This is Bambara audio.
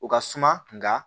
O ka suma nka